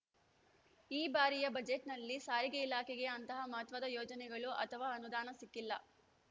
ಈ ಬಾರಿಯ ಬಜೆಟ್‌ನಲ್ಲಿ ಸಾರಿಗೆ ಇಲಾಖೆಗೆ ಅಂತಹ ಮಹತ್ವದ ಯೋಜನೆಗಳು ಅಥವಾ ಅನುದಾನ ಸಿಕ್ಕಿಲ್ಲ